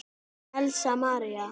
Elsa María.